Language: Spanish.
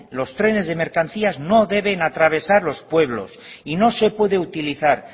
los trenes de mercancías no deben atravesar los pueblos y no se puede utilizar